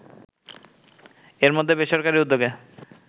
এর মধ্যে বেসরকারি উদ্যোগে